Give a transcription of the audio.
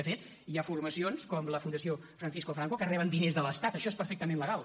de fet hi ha formacions com la fundació francisco franco que reben diners de l’estat això és perfectament legal